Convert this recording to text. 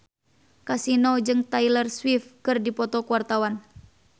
Kasino jeung Taylor Swift keur dipoto ku wartawan